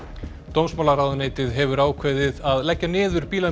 dómsmálaráðuneytið hefur ákveðið að leggja niður